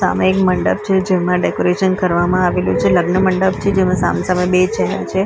સામે એક મંડપ છે જેમાં ડેકોરેશન કરવામાં આવેલું છે લગ્ન મંડપ છે જેમાં સામ-સામે બે ચેહરા છે.